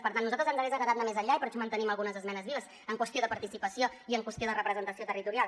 per tant nosaltres ens hagués agradat anar més enllà i per això mantenim algunes esmenes vives en qüestió de participació i en qüestió de representació territorial